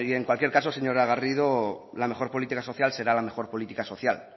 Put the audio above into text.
en cualquier caso señora garrido la mejor política social será la mejor política social